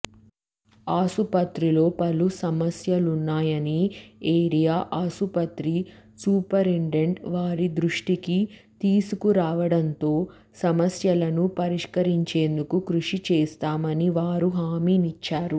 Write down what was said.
ఆసుపత్రిలో పలు సమస్యలున్నాయని ఏరియా ఆసుపత్రి సూపరింటెండెంట్ వారి దృష్టికి తీసుకురావడంతో సమస్యలను పరిష్కరించేందుకు కృషి చేస్తామని వారు హామినిచ్చారు